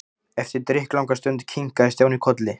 Eftir drykklanga stund kinkaði Stjáni kolli.